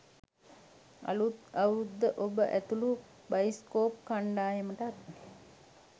අලුත් අවුරැද්ද ඔබ ඇතුලු බයිස්කෝප් කණ්ඩායමටත්